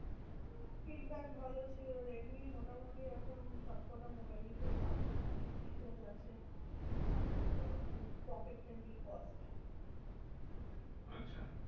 Feedback ভালো ছিল রেডমির মোটামুটি এখন সবকটা মোবাইলই ভালো। অনেক features আছে। আর আহ খুব pocket friendly cost. আচ্ছা।